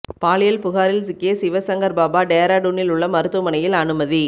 பாலியல் புகாரில் சிக்கிய சிவசங்கர் பாபா டேராடூனில் உள்ள மருத்துவமனையில் அனுமதி